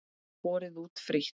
Borið út frítt.